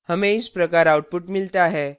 हमें इस प्रकार output मिलता है